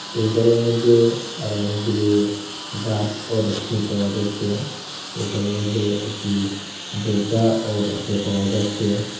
সেই ঘরের মধ্যে আরও অনেকগুলো গাসও দেখতে পাওয়া যাচ্ছে সে ঘরের মধ্যে একটি দরজাও দেখতে পাওয়া যাচ্ছে।